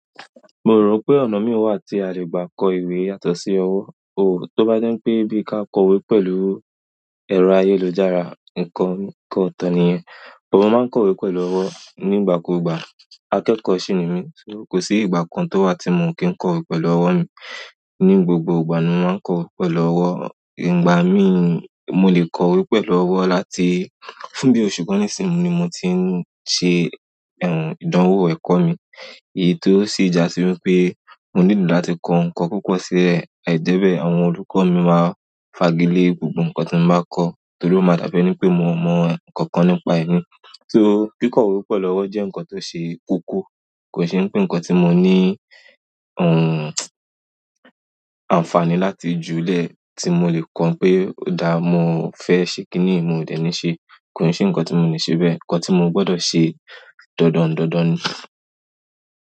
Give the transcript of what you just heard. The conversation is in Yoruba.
Mo rò pé ọ̀nà mi wà tí a lè gbà kọ ìwé yàtọ̀ sí ọwọ́. Ooo, tó bá je pé bí ka kọ ìwé pẹ̀lú ẹ̀rọ ayélujára, nǹkan kan nǹkan oto nìyẹn. Òun máa ń kọ ìwé pẹ̀lú ọwọ́ nígbàkúùgbà. Akekọ́ sì ni mí, ṣé kò sí ìgbà kan tó wà tí mo kí ń kọ ìwé pẹ̀lú ọwọ́ mi. Ní gbogbo ìgbà ni mo máa ń kọ ìwé pẹ̀lú ọwọ́. Ìgbà mí, mo lè kọ ìwé pẹ̀lú ọwọ́ láti fún bí oṣù kán nìsìn ni mo ti ń ṣe, eh, ìdánwò ẹ̀kọ́ mi. Èyí tó sì ja sí wípé mo nílò láti kọ ǹkan púpọ̀ sí lẹ̀, àìjẹ́bẹ́ àwọn olùkọ́ mi máa fagi lé gbogbo ǹkan tí mo bá kọ, torí ó máa dábẹ́ ní pé mo mọ ǹkankan nípa ẹ̀ ní. So kí kọ ìwé pẹ̀lú ọwọ́ jẹ́ ǹkan tó ṣe koko, kò sì ní pé ǹkan tí mo ní, uhn, àǹfààní láti júle tí mo lè kọ pé, o dà mọ fẹ́ ṣe kíni mi ò dẹ̀ ní ṣe, kò se ǹkan tí mo le ṣe bẹ́ẹ̀. Ǹkan tí mo gbọdọ̀ ṣe dandan dandan ni.